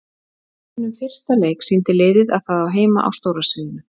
Í sínum fyrsta leik sýndi liðið að það á heima á stóra sviðinu.